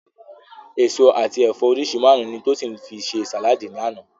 Èso àti ẹ̀fọ́ oríṣi márùn-ún ni Tósìn fi ṣe sàláàdì lánàá